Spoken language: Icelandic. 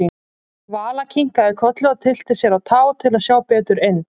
Vala kinkaði kolli og tyllti sér á tá til að sjá betur inn.